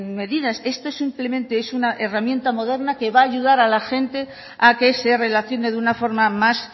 medidas esto simplemente es una herramienta moderna que va a ayudar a la gente a que se relacione de una forma más